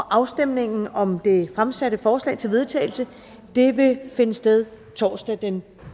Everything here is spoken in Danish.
afstemningen om det fremsatte forslag til vedtagelse vil finde sted torsdag den